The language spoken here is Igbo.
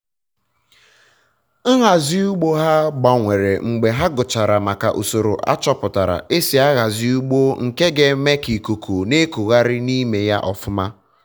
nhazi ugbo ha gbanwere mgbe ha gụchara maka usoro achọpụtara esi ahazi ugbo nke ga eme ka ikuku na ekugharị na ime ya ọfụma